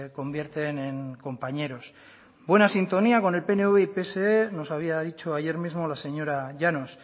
convierten en compañeros buena sintonía con el pnv y pse nos había dicho ayer mismo la señora llanos